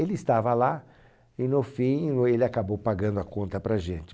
Ele estava lá e no fim o, ele acabou pagando a conta para a gente.